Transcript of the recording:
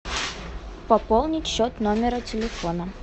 пополнить счет номера телефона